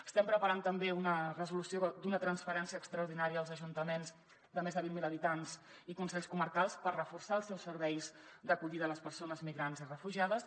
estem preparant també una resolució d’una transferència extraordinària als ajuntaments de més de vint mil habitants i consells comarcals per reforçar els seus serveis d’acollida a les persones migrants i refugiades